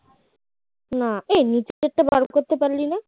না এই নিচেরটা বের করতে পারলি না